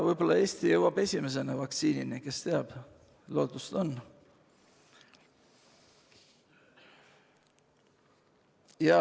Võib-olla Eesti jõuab esimesena vaktsiinini – kes teab, lootust on.